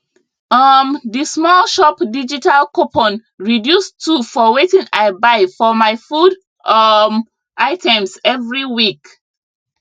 um d small shop digital coupon reduce two for wetin i buy for my food um items every week